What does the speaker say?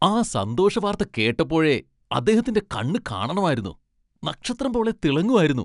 ആ സന്തോഷ വാർത്ത കേട്ടപ്പോഴേ, അദ്ദേഹത്തിന്റെ കണ്ണു കാണണമായിരുന്നു! നക്ഷത്രം പോലെ തിളങ്ങുവായിരുന്നു.